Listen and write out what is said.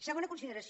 segona consideració